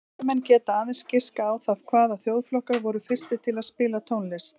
Fræðimenn geta aðeins giskað á það hvaða þjóðflokkar voru fyrstir til að spila tónlist.